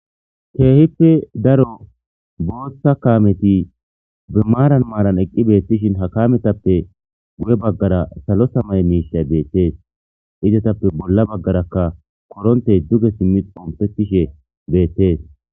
keehippe daro booththa kaameti bimaaran maaran eqqi beettishin ha kaametappe guye baggara salo samay miishay beettees izatappe bolla baggarakka korontey duge simmi ompettishe beettees